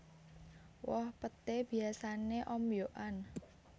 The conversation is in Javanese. Woh peté biyasané ombyokan